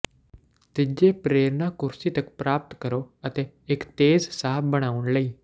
ਤੀਜੇ ਪ੍ਰੇਰਨਾ ਕੁਰਸੀ ਤੱਕ ਪ੍ਰਾਪਤ ਕਰੋ ਅਤੇ ਇੱਕ ਤੇਜ਼ ਸਾਹ ਬਣਾਉਣ ਲਈ